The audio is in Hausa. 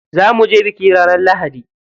Za muje biki ranar lahadi.